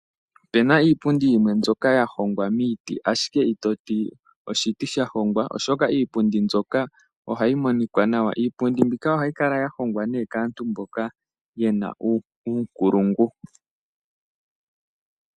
Opena iipundi yimwe mbyoka ya hongwa miiti ashike itoti oshiti sha hongwa oshoka iipundi mbyoka ohayi monikwa nawa. Iipundi mbyika ohayi kala ya hongwa ne kaantu mboka yena uunkulungu.